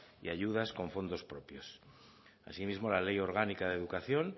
y ayudas con fondos propios asimismo la ley orgánica de educación